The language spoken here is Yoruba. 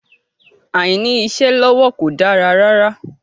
Àìní-iṣẹ́ lọ́wọ́ kò dára rárá.